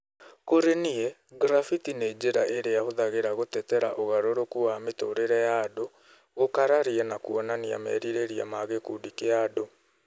Kũrĩ niĩ, graffiti nĩ njĩra irĩa hũthagĩra gũtetera ũgarũrũku wa mĩtũrĩre ya andũ, gũkararia na kũonania merirĩria ma gĩkundi kĩa andũ.